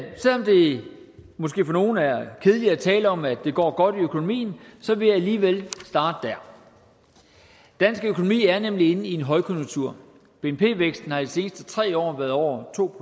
måske for nogle er kedeligt at tale om at det går godt i økonomien vil jeg alligevel starte der dansk økonomi er nemlig inde i en højkonjunktur bnp væksten har de seneste tre år været over to